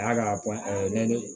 A y'a ka